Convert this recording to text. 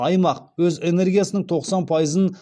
аймақ өз энергиясының тоқсан пайызын